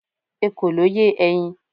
ekòló ye eyin